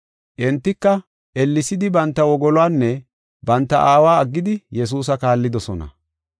Entika, ellesidi banta wogoluwanne banta aawa aggidi Yesuusa kaallidosona.